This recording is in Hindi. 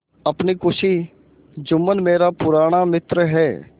अपनी खुशी जुम्मन मेरा पुराना मित्र है